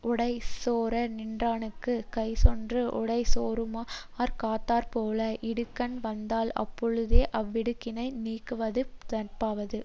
உடைசோரநின்றானுக்குக் கைசென்று உடைசோராமற் காத்தாற்போல இடுக்கண்வந்தால் அப்பொழுதே அவ்விடுக்கணை நீக்குவது நட்பாவது